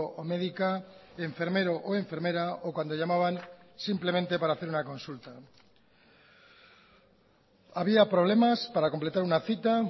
o médica enfermero o enfermera o cuando llamaban simplemente para hacer una consulta había problemas para completar una cita